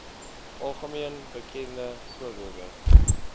algemeen bekende voorbeelde